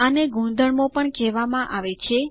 આને ગુણધર્મો પણ કહેવામાં આવે છે